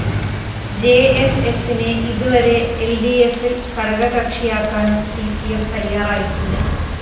ജെഎസ്എസിനെ ഇതുവരെ എല്‍ഡിഎഫില്‍ ഘടകകക്ഷിയാക്കാനും സി പി എം തയ്യാറായിട്ടില്ല